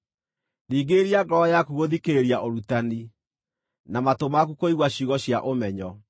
Ringĩrĩria ngoro yaku gũthikĩrĩria ũrutani, na matũ maku kũigua ciugo cia ũmenyo.